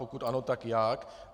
Pokud ano, tak jak.